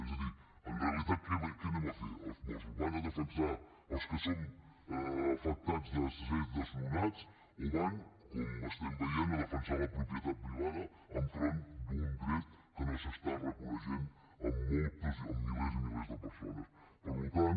és a dir en realitat què hi van a fer els mossos hi van a defensar els que són afectats de ser desnonats o hi van com estem veient a defensar la propietat privada enfront d’un dret que no s’està reconeixent en moltes en milers i milers de persones per tant